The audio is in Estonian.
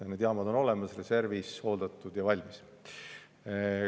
Need jaamad on olemas, reservis, hooldatud ja valmis.